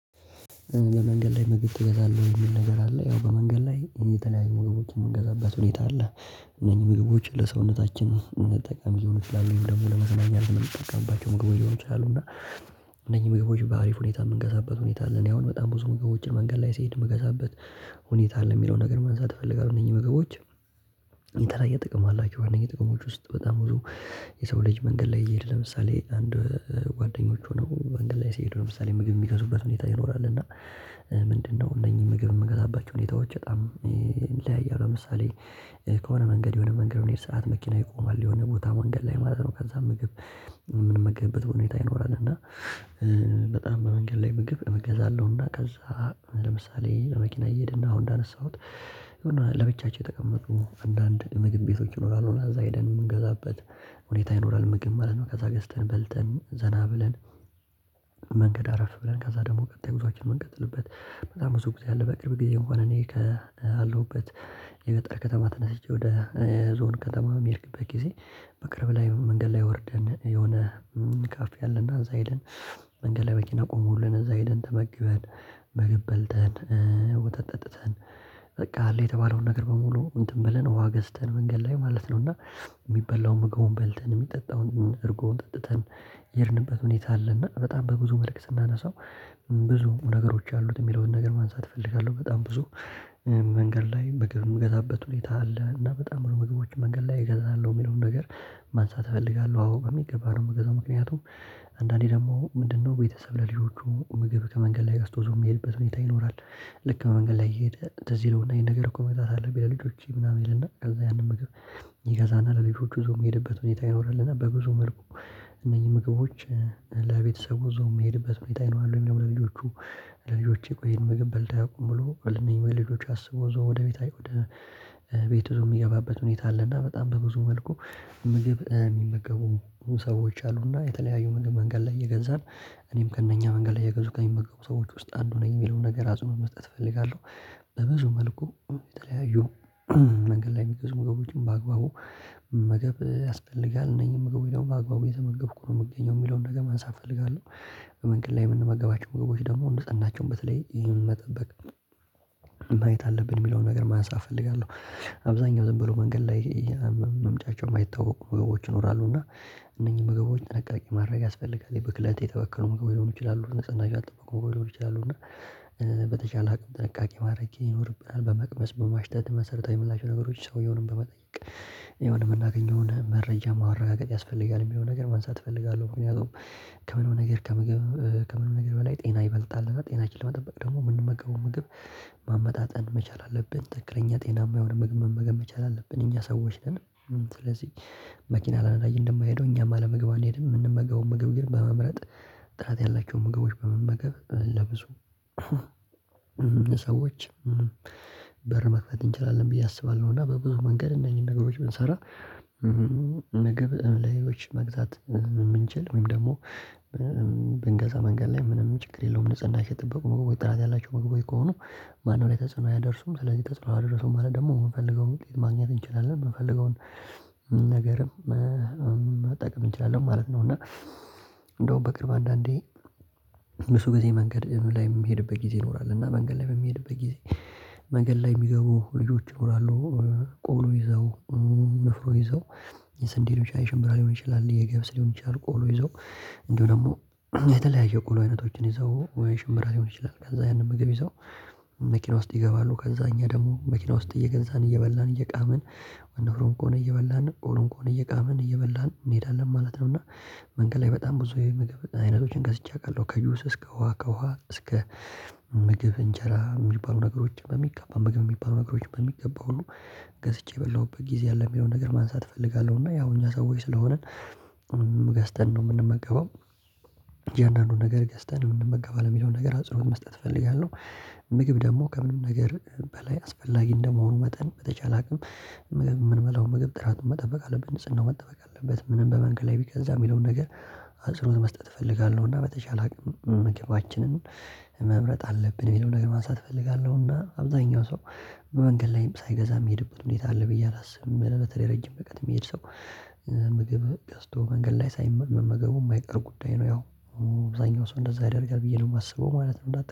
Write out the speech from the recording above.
በመንገድ ላይ ምግብ ትበላለህ የሚል ነገር አለ ያው በመንገድ ላይ የተለያዩ ሞግቦችን የምንገዛበት ሁኔታ አለ። እነኚህ ምግቦች ለሰውነታችን ጠቃሚ ሊሆኑ ይችላሉ ወይም ደግሞ ለመዝናኛ የምንጠቀምባቸው ምግቦች ሊሆኑ ይችላሉ። እና እነኚህ ምግቦች በአሪፍ ሁኔታ የምገዛበት ሁኔታ አለ። እኔ አሁን በጣም ብዙ ምግቦችን መንገድ ላይ ስሄድ ምገዛበት ሁኔታ አለ የሚለውን ነገር ማንሳት እፈልጋለሁ። እነዚህ ምግቦች የተለያየ ጥቅም አላቸው። የጥቅሞች ውስጥ በጣም ብዙ የሰው ልጅ መንገድ ላይ እየሄደ ለምሳሌ አንድ ጓደኞች ሆነው መንገድ ላይ ስሄድ ለምሳሌ ምግብ የሚገዙበት ሁኔታ ይኖራል። እና ምንድነው? እነኚህ ምግብ የምገዛባቸው ሁኔታዎች በጣም ይለያያል። ለምሳሌ ከሆነ መንገድ የሆነ መንገድ መንገድ መኪና ይቆማል የሆነ ቦታ መንገድ ላይ ማለት ነው። ከዛ ምግብ ምንመገብበት ሁኔታ ይኖራል። እና በጣም በመንገድ ላይ ምግብ እገዛለሁና ከዛ ለምሳሌ መኪና እየሄድና አሁን እንዳነሳሁት ለብቻቸው የተቀመጡ አንዳንድ ምግብ ቤቶች ይኖራሉ። እና እዛ ሄደን የምንገዛበት ሁኔታ ይኖራል ምግብ ማለት ነው። ከዛ ገዝተን በልተን ዘና ብለን መንገድ አረፍ ብለን ከዛ ደግሞ ቀጣይ ጉዞአችን የምንቀጥልበት በጣም ብዙ ጊዜ ያለው። በቅርብ ጊዜ እንኳን እኔ ካለሁበት የገጠር ከተማ ተነስቼ ወደ ዞን ከተማ በሚሄድበት ጊዜ። በቅርብ ላይ መንገድ ላይ ወርደን የሆነ ካፍ ያለና እዛ ይለን መንገድ ላይ መኪና ቆሞልን እዛ ሄደን ተመግበን። ምግብ በልተን ወተት ጠጥተን በቃ አለ የተባለውን ነገር በሙሉ እንትን ብለን ውሃ ገዝተን መንገድ ላይ ማለት ነው። እና የሚበላውን ምግቡን በልተን የሚጠጣውን እርጎውን ጠጥተን የሄድንበት ሁኔታ አለ። እና በጣም በብዙ መልክ ስናነሳው ብዙ ነገሮች አሉት የሚለውን ነገር ማንሳት እፈልጋለሁ። በጣም ብዙ መንገድ ላይ ምግብ የምገዛበት ሁኔታ አለ። እና በጣም ብሎ ምግቦች መንገድ ላይ እገዛለሁ የሚለውን ነገር ማንሳት እፈልጋለሁ። አዎ በሚገባ ነው የምገዛው ምክንያቱም። አንዳንዴ ደግሞ ምንድነው ቤተሰብ ለልጆቹ ምግብ ከመንገድ ላይ አስቶዞ የሚሄድበት ሁኔታ ይኖራል። ልክ ከመንገድ ላይ እየሄደ ትዝ ይለውና ይሄን ነገር እኮ መግዛት አለብኝ ለልጆቼ ምናምን ይልና ከዛ ያንን ምግብ ይገዛና ለልጆቹ ይዞ የሚሄድበት ሁኔታ ይኖራልና። በብዙ መልኩ እነዚህ ምግቦች ለቤተሰቡ ዞም የሚሄድበት ሁኔታ ይኖራል። ወይ? ለልጆቹ ለልጆቼ ቆይ ይህን ምግብ በልተን ቆምሎ ልንል ልጆቼ አስቦ ዘው ወደ ቤት አይ ወደ ብዙ የሚገባበት ሁኔታ አለና። በጣም በብዙ መልኩ ምግብ የሚመገቡ ሰዎች አሉና የተለያዩ ምግብ መንገድ ላይ እየገዛን እኔም ከእነኛ መንገድ ላይ እየገዙ ከሚመገቡ ሰዎች ውስጥ አንዱ ነኝ። የሚለውን ነገር አጽንኦት መስጠት እፈልጋለሁ። በብዙ መልኩ የተለያዩ መንገድ ላይ የሚገዙ መገቦችን በአግባቡ መገብ ያስፈልጋል። እነዚህን መገቡ ደግሞ በአግባቡ የተመገብኩ ነው የምገኘው የሚለውን ነገር ማንሳት እፈልጋለሁ። በመንገድ ላይ የምንመገባቸው ምግቦች ደግሞ ንጽህናቸው በተለይ ይህን መጠበቅ ማየት አለብን የሚለውን ነገር ማንሳት እፈልጋለሁ። አብዛኛው ዝም ብሎ መንገድ ላይ መምጭቸው የማይታወቅ ምግቦች ይኖራሉ። እና እነኚህ ምግቦች ጥንቃቄ ማድረግ ያስፈልጋል። ብክለት የተበከሉ ምግቦች ሊሆኑ ይችላሉ ንጽህናም አልጠበቀም ሊሆኑ ይችላሉ። እና በተቻለ አቅም ጥንቃቄ ማድረግ ይኖርብናል። በመቅመስ በማሽተት መሰረታዊ ምላሽ ነገሮች ሰውየውን በመጠየቅ የምናገኘውን መረጃ ማረጋገጥ ያስፈልጋል። የሚለውን ነገር ማንሳት እፈልጋለሁ ከምንም ነገር ከምግብ ከምንም ነገር በላይ ጤና ይበልጣልና። ጤናችን ለመጠበቅ ደግሞ የምንመገበው ምግብ ማመጣጠን መቻል አለብን። ትክክለኛ ጤናማ የሆነ ምግብ መመገብ መቻል አለብን። እኛ ሰዎች ነን። ስለዚህ መኪና ያለ ነዳጅ እንደማይሄደው እኛም አለመግባን እንሄድ የምንመገበው ምግብ ግን በመምረጥ ጥራት ያላቸው ምግቦች በመመገብ ለብዙ ሰዎች በር መክፈት እንችላለን። ብዬ አስባለሁ። እና በብዙ መንገድ እነዚህን ነገሮች ብንሰራ ምግብ ለሌሎች መግዛት የምንችል ወይም ደግሞ ብንገዛ መንገድ ላይ ምንም ችግር የለውም። ልጽናችን የጠበቁ ምግቦች ጥራት ያላችሁ ምግቦች ከሆኑ ማንም ላይ ተጽዕኖ አያደርሱም። ስለዚህ ተጽዕኖ አደረሱም ማለት ደግሞ የምንፈልገውን መግዛት ማግኘት እንችላለን። የምንፈልገውን ነገርም መጠቅም እንችላለን ማለት ነው። እና እንደውም በቅርብ አንዳንዴ ብዙ ጊዜ መንገድ ላይ የምሄድበት ጊዜ ይኖራል። እና መንገድ ላይ በምሄድበት ጊዜ መንገድ ላይ የሚገቡ ልጆች ይኖራሉ። ቆሎ ይዘው ንፍሮ ይዘው የስንዴ ሊሆን ይችላል አይሸምብራ ሊሆን ይችላል። የገበስ ሊሆን ይችላል። ቆሎ ይዞ እንደው ደግሞ የተለያየ ቆሎ አይነቶችን ይዘው ወይ ሽምብራ ሊሆን ይችላል። ከዛ ያንን ምግብ ይዘው መኪና ውስጥ ይገባሉ። ከዛ እኛ ደግሞ መኪና ውስጥ እየገዛን እየበላን እየቃመን ወንድሮምኮን እየበላን ኦሮምኮን እየቃመን እየበላን እንሄዳለን ማለት ነው። እና መንገድ ላይ በጣም ብዙ የምግብ አይነቶችን ገዝቼ አውቃለሁ። ከጁስ እስከ ውሃ ከውሃ እስከ ምግብ እንጀራ የሚባሉ ነገሮች በሚገባ መመገብ የሚባሉ ነገሮች በሚገባ ሁሉ ገዝቼ በላሁበት ጊዜ ያለው የሚለውን ነገር ማንሳት እፈልጋለሁ። እና ያው እኛ ሰውዬ ስለሆንን ገዝተን ነው የምንመገበው። እንደው አንዳንዱን ነገር ገዝተን ነው የምንመገበው የሚለውን ነገር አጽንኦት መስጠት እፈልጋለሁ። ምግብ ደግሞ ከምንም ነገር በላይ አስፈላጊ እንደመሆኑ መጠን በተቻለ አቅም ምግብ ምንበላው ምግብ ጥራቱን መጠበቅ አለብን። ጽንናው መጠበቅ አለበት። ምንም በመንግል ላይ ቢገዛ የሚለውን ነገር አጽንኦት መስጠት እፈልጋለሁ። እና በተቻለ መገባችንን መምረጥ አለብን። የሚለውን ነገር ማንሳት እፈልጋለሁና አብዛኛው ሰው በመንገድ ላይም ሳይገዛ የሚሄድበት ሁኔታ አለ። ብዬ አላስብም። ለበተለይ ረጅም ርቀት የሚሄድ ሰው ምግብ ገዝቶ መንገድ ላይ ሳይመገቡ የማይቀር ጉዳይ ነው። ያው አብዛኛው ሰው እንደዛ ያደርጋል ብዬ ነው የማስበው። ማለት ነው።